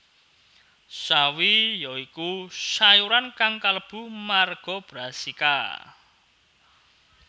Sawi ya iku sayuran kang kalebu marga Brassica